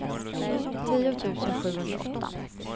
tio tusen sjuhundraåtta